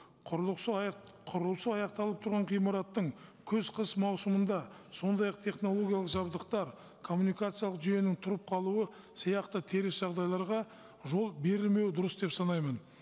құрылысы құрылысы аяқталып тұрған ғимараттың күз қыс маусымында сондай ақ технологиялық жабдықтар коммуникациялық жүйенің тұрып қалуы сияқты теріс жағдайларға жол берілмеуі дұрыс деп санаймын